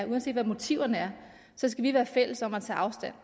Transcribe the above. uanset hvad motiverne er skal vi være fælles om at tage afstand